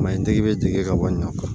Maɲi tigi bɛ jigin ka bɔ ɲɔ kɔrɔ